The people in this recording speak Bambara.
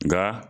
Nga